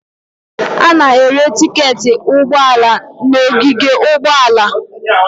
A na-ere tiketi ụgbọ ala n'ogige ụgbọala.